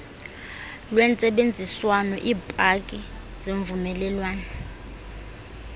lwentsebenziswano iipaki zemvumelwano